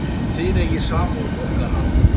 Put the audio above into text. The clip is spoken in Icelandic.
Þið eigið samúð okkar alla.